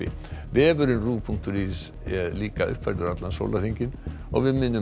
vefurinn punktur is er uppfærður allan sólarhringinn við minnum